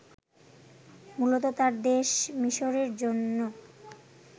মূলত তাঁর দেশ মিসরের জন্য